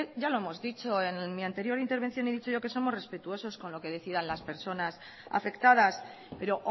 ya lo hemos dicho en mi anterior intervención he dicho yo que somos respetuosos con lo que decidan las personas afectadas pero